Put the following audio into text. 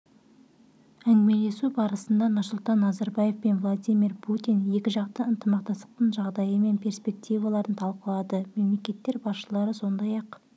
әңгімелесу барысында нұрсұлтан назарбаев пен владимир путин екіжақты ынтымақтастықтың жағдайы мен перспективаларын талқылады мемлекеттер басшылары сондай-ақ